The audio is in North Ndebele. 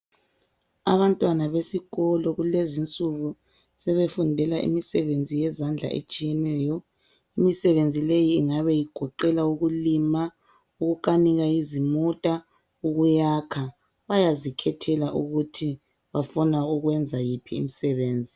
Abantwana besikolo kulezinsuku sebefundela imisebenzi yezandla etshiyeneyo. Imisebenzi leyi ingabe igoqela ukulima, ukukanika izimota, ukuyakha, bayazikhethela ukuthi bafuna ukwenza yiphi imisebenzi.